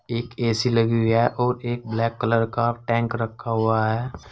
एक ए_सी लगी है और एक ब्लैक कलर का टैंक रखा हुआ है।